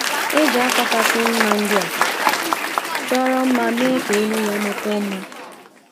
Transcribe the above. E ji ákwà kasị mma ndị a chọrọ mma mee ka elu ya makwuo mma.